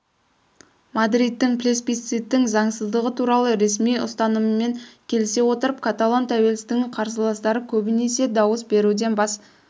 мадридтің плебисциттың заңсыздығы туралы ресми ұстанымымен келісе отырып каталон тәуелсіздігінің қарсыластары көбінесе дауыс беруден бас